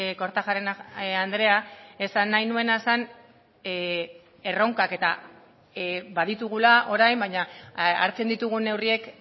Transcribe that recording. kortajarena andrea esan nahi nuena zen erronkak eta baditugula orain baina hartzen ditugun neurriek